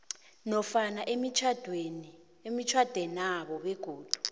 nofana emitjhadwenabo begodu